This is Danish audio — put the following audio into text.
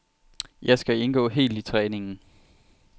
Jeg skal indgå helt i træningen.